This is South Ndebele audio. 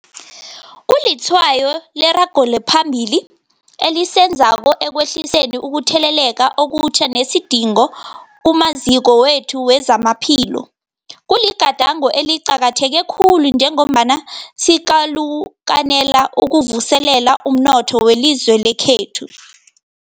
Kulitshwayo leragelo phambili esilenzako ekwehliseni ukutheleleka okutjha nesidingo kumaziko wethu wezamaphilo. Kuligadango eliqakatheke khulu njengombana sikalukanela ukuvuselela umnotho welizwe lekhethu.